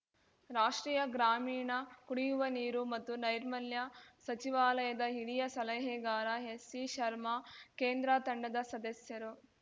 ರಾಷ್ಟ್ರೀಯ ಗ್ರಾಮೀಣ ಕುಡಿಯುವ ನೀರು ಮತ್ತು ನೈರ್ಮಲ್ಯ ಸಚಿವಾಲಯದ ಹಿರಿಯ ಸಲಹೆಗಾರ ಎಸ್‌ಸಿಶರ್ಮಾ ಕೇಂದ್ರ ತಂಡದ ಸದಸ್ಯರು